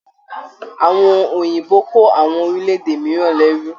Àwọn Òyìnbó kò àwọn orílẹ̀-èdè mìíràn lérù.